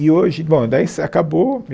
E hoje... Bom, daí acabou.